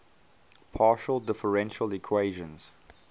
partial differential equations